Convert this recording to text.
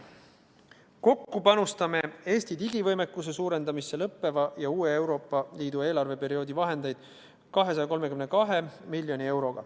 Kokku panustame Eesti digivõimekuse suurendamisse Euroopa Liidu lõppeva ja uue eelarveperioodi vahendeid 232 miljonit eurot.